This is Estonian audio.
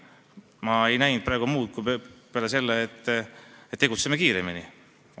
Ma ei tabanud selles küsimuses praegu muud kui üleskutset, et tegutseme kiiremini.